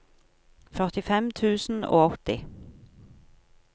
førtifem tusen og åtti